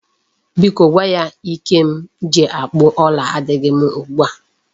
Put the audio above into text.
Biko gwa ya Ike m ji akpụ ọla adịghị m ugbu a.